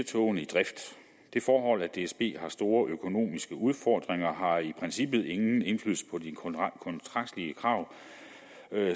togene i drift det forhold at dsb har store økonomiske udfordringer har i princippet ingen indflydelse på de kontraktlige krav